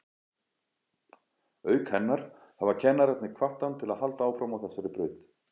Auk hennar hafa kennararnir hvatt hann til að halda áfram á þessari braut.